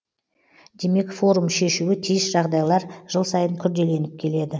демек форум шешуі тиіс жағыдайлар жыл сайын күрделеніп келеді